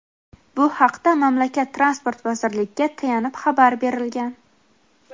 Bu haqda mamlakat Transport vazirligiga tayanib xabar berilgan.